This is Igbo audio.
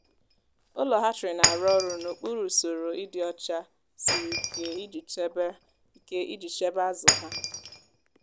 ụlọ hatchery na-arụ ọrụ n'okpuru usoro ịdị ọcha siri ike iji chebe ike iji chebe azụ ha.